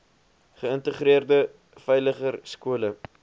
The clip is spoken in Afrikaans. geïntegreerde veiliger skole